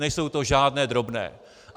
Nejsou to žádné drobné.